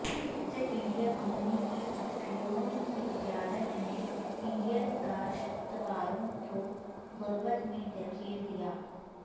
asset India Company کی افیون کی تجارت نے انڈین کاشتکاروں کو غربت میں دھکیل دیا